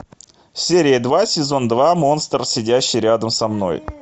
серия два сезон два монстр сидящий рядом со мной